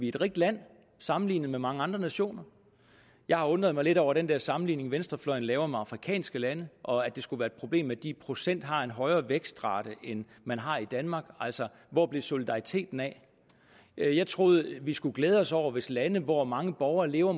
et rigt land sammenlignet med mange andre nationer jeg har undret mig lidt over den der sammenligning venstrefløjen laver med afrikanske lande og at det skulle være et problem at de i procent har en højere vækstrate end man har i danmark altså hvor blev solidariteten af jeg troede vi skulle glæde os over hvis de lande hvor mange borgere lever